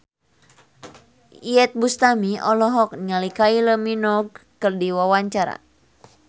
Iyeth Bustami olohok ningali Kylie Minogue keur diwawancara